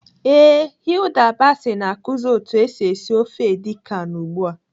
Ee, Hilda Baci na-akụzi otu esi esi ofe edi kan ugbu a.